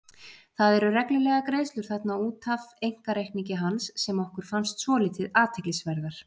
Það eru reglulegar greiðslur þarna út af einkareikningi hans sem okkur fannst svolítið athyglisverðar.